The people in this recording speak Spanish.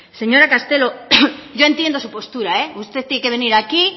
señora castelo yo entiendo su postura usted tiene que venir aquí